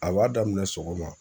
A b'a daminɛ sɔgɔma